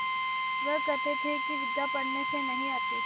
वह कहते थे कि विद्या पढ़ने से नहीं आती